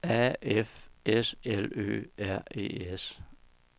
A F S L Ø R E S